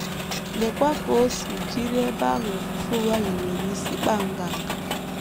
Leekwa ka o si jiri ebe ahụ ofufe ụgha hiwere isi kpaa nganga!